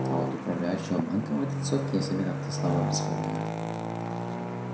а вот управляющего банком в этой тусовке я себе как-то слабо представляю